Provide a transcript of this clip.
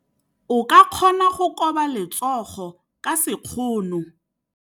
O ka kgona go koba letsogo ka sekgono.